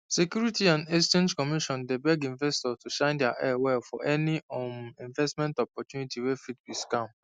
security and exchange commission dey beg investors to shine eye well for any um investment opportunity wey fit be scam